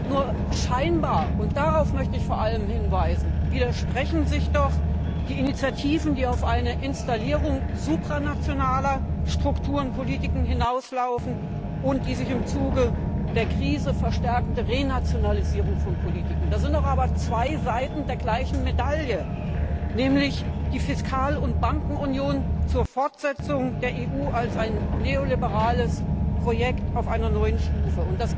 Nur scheinbar und darauf möchte ich vor allem hinweisen widersprechen sich die Initiativen, die auf eine Installierung supranationaler Strukturpolitiken hinauslaufen und auf die sich im Zuge der Krise verstärkende Renationalisierung von Politiken. Das sind zwei Seiten der gleichen Medaille, nämlich die Fiskal und Bankenunion zur Fortsetzung der EU als ein neoliberales Projekt auf einer neuen Stufe.